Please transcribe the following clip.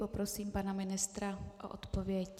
Poprosím pana ministra o odpověď.